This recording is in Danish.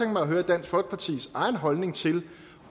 mig at høre dansk folkepartis egen holdning til